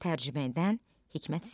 Tərcümə edən Hikmət Ziya.